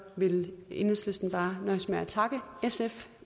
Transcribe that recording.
vil enhedslisten bare nøjes med at takke sf